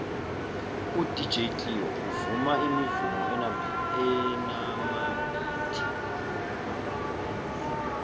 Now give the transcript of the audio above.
udj cleo uvuma imivumo enamabhithi